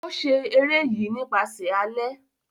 O ṣe ere yi nipasẹ alẹ.